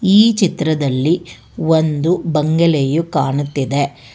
ಈ ಚಿತ್ರದಲ್ಲಿ ಒಂದು ಬಂಗಲೆಯು ಕಾಣುತ್ತಿದೆ.